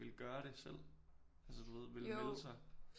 Ville gøre det selv altså du ved ville melde sig